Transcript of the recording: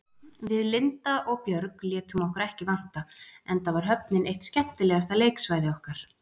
Við Linda og Björg létum okkur ekki vanta, enda var höfnin eitt skemmtilegasta leiksvæði okkar.